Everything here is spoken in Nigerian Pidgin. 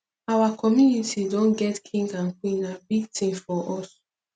our community don get king and queen na big thing for us